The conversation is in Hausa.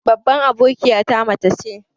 Babban abokiyata mace ce.